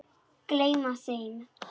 Gleyma þeim.